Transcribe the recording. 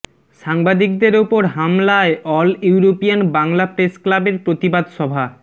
সাংবাদিকের ওপর হামলায় অল ইউরোপিয়ান বাংলা প্রেস ক্লাবের প্রতিবাদ সভা